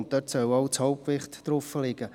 Dort soll auch das Hauptgewicht liegen.